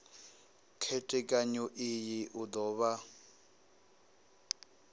khethekanyo iyi u do vha